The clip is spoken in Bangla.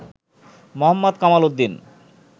মোহাম্মদ কামাল উদ্দিন